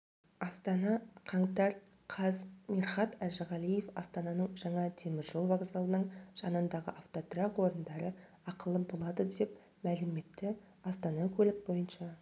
астана қаңтар қаз мирхат әжіғалиев астананың жаңа темір жол вокзалының жанындағы автотұрақ орындары ақылы болады деп мәлім етті астана көлік бойынша